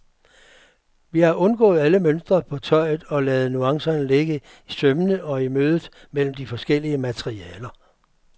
Vi har undgået alle mønstre på tøjet og ladet nuancerne ligge i sømmene og i mødet mellem de forskellige materialer.